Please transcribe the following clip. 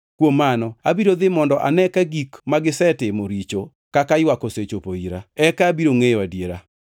kuom mano abiro dhi mondo ane ka gik magisetimo richo kaka ywak osechopo ira, eka abiro ngʼeyo adiera.”